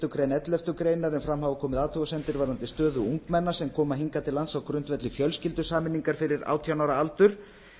málsgrein elleftu greinar en fram hafa komið athugasemdir varðandi stöðu ungmenna sem koma hingað til lands á grundvelli fjölskyldusameiningar fyrir átján ára aldur